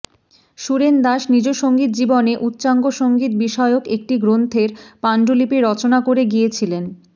সুরেন দাশ নিজ সঙ্গীত জীবনে উচ্চাঙ্গ সঙ্গীত বিষয়ক একটি গ্রন্থের পান্ডুলিপি রচনা করে গিয়েছিলেন